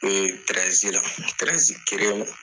N'o ye la, kelen ma.